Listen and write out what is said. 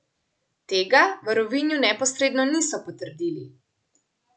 Tega v Rovinju neposredno niso potrdili.